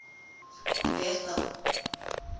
bethal